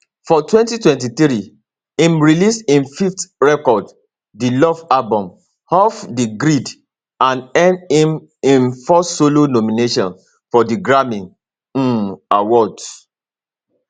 for 2023 im release im fifth record di love album off di grid and earn im im first solo nomination for di grammy um awards